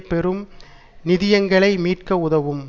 பெரும் நிதியங்களை மீட்க உதவும்